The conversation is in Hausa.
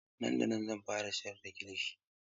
Nan da nan zan fara siyar da kilishi.